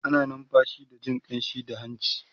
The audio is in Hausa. ana numfashi da Jin ƙamshi da hanci